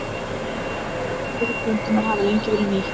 Fræ og þræðir plöntunnar hafa lengi verið nýtt.